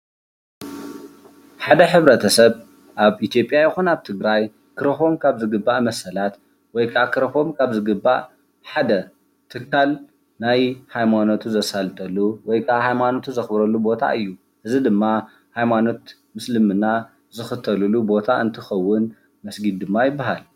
ሓደ ሕብረተሰብ ኣብ ኢትዮጲያ ይኩን ኣብ ትግራይ ክረክቦም ካብ ዝግባእ መሰላት ወይ ከዓ ክረክቦም ካብ ዝግባእ ሓደ ትካል ናይ ሃይማኖቱ ዘሳልጠሉ ወይ ከዓ ሃይማኖቱ ዘክብረሉ ቦታ እዩ። እዚ ድማ ሃይማኖት እስልምና ዝክተልሉ ቦታ እንትከዉን መስጊድ ድማ ይበሃል።